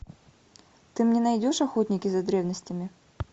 ты мне найдешь охотники за древностями